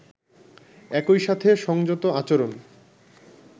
একই সাথে সংযত আচরণ